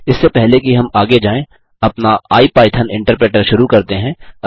इससे पहले कि हम आगे जाएँ अपना आईपाइथन इन्टरप्रेटर शुरू करते हैं